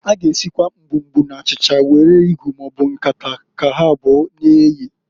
A g'esikwasi mgbumgbu na achicha were igu maọbụ nkata ka ha abụo na-eye.